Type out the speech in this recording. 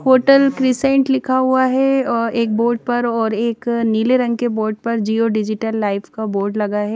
Hotel Crescent लिखा हुआ है और एक बोर्ड पर एक नीले रंग के बोर्ट पर जिओ डिजिटल लाइफ का बोर्ड लगा है।